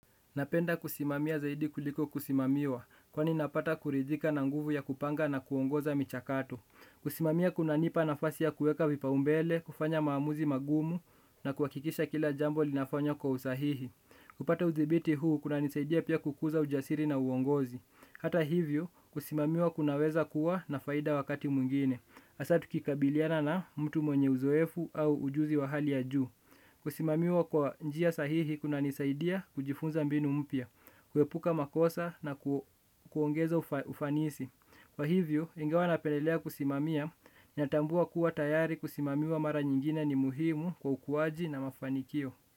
Napenda kusimamia zaidi kuliko kusimamiwa, kwani napata kuridhika na nguvu ya kupanga na kuongoza michakato. Kusimamia kuna nipa nafasi ya kueka vipaumbele, kufanya maamuzi magumu, na kuhakikisha kila jambo linafanywa kwa usahihi. Kupata udhibiti huu, kuna nisaidia pia kukuza ujasiri na uongozi. Hata hivyo, kusimamiwa kunaweza kuwa na faida wakati mwingine. Hasa tukikabiliana na mtu mwenye uzoefu au ujuzi wa hali ya juu. Kusimamiwa kwa njia sahihi kuna nisaidia kujifunza mbinu mpya, kuepuka makosa na kuongeza ufanisi. Kwa hivyo, ingawa napelelea kusimamia natambua kuwa tayari kusimamiwa mara nyingine ni muhimu kwa ukuwaji na mafanikio.